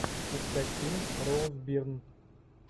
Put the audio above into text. искать фильм роуз бирн